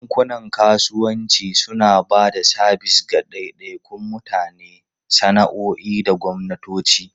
Bankunan kasuwanci suna ba da sabis ga daidaikun mutane, sana'o'i da gwamnatoci.